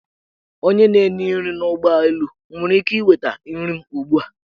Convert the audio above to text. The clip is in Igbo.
Onye na-enye nri n; ụgbọelu, m nwere ike inweta nri m ugbua?